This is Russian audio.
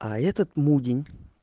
а этот мудень